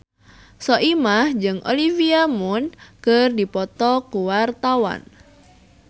Soimah jeung Olivia Munn keur dipoto ku wartawan